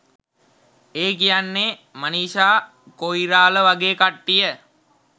ඒ කියන්නේ මනිෂා කොයිරාල වගේ කට්ටිය.